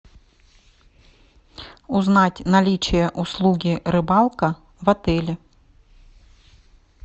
узнать наличие услуги рыбалка в отеле